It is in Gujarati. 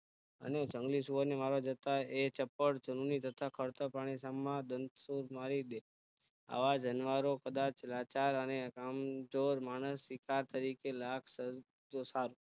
અને જંગલી સુવર ને મારવા જતા ચપડ જંગલી તથા ખડતર પ્રાણી માં દાંતસુદ મારી દેય આવા જાનવર કદાચ લાચાર અને કામચોર માણસ શિકાર તરીકે